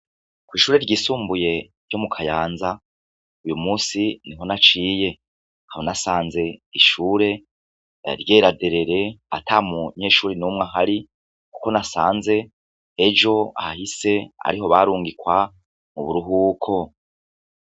Kwishure ryisumbuye ryo mukayanza uyumusi niho naciye nkaba nasanze ishure ryera derere atamunyeshure n' umwe ahari kuko nasanze ejo hahise ariho barungikwa muburuhuko.